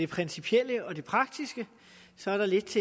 principielle og det praktiske så er der lidt